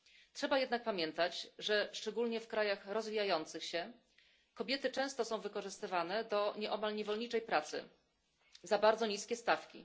Trzeba jednak pamiętać, że szczególnie w krajach rozwijających się kobiety są często wykorzystywane do nieomal niewolniczej pracy, za bardzo niskie stawki.